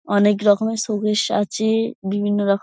অনেক রকমের শোকেস আছে-এ বিভিন্ন রকম--